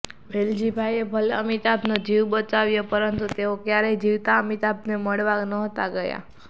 વેલજીભાઈએ ભલે અમિતાભનો જીવ બચાવ્યો પરંતુ તેઓ ક્યારેય જીવતા અમિતાભને મળવા નહોતા ગયાં